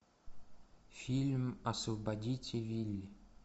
фильм освободите вилли